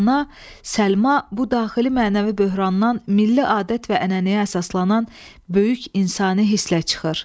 Ana Səlma bu daxili mənəvi böhrandan milli adət və ənənəyə əsaslanan böyük insani hisslə çıxır.